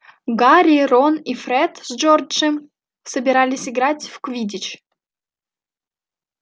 гарри рон и фред с джорджем собирались играть в квиддич